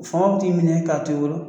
Faw t'i minɛ k'a to i bolo.